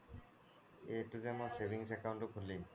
এইটো জে মই savings account খুলিম